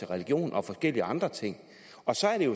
religion og forskellige andre ting og så er det